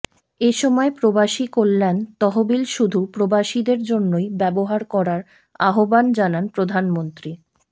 এ সময় প্রবাসী কল্যাণ তহবিল শুধু প্রবাসীদের জন্যই ব্যবহার করার আহ্বান জানান প্রধানমন্ত্রী